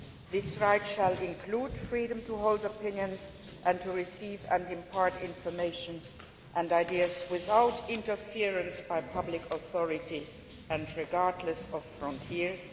This right shall include freedom to hold opinions and to receive and impart information and ideas without interference by public authority and regardless of frontiers.